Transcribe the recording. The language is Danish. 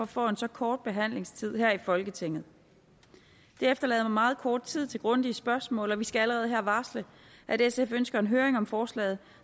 får en så kort behandlingstid her i folketinget det efterlader meget kort tid til grundige spørgsmål og vi skal allerede her varsle at sf ønsker en høring om forslaget